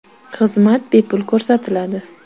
Xizmat bepul ko‘rsatiladi.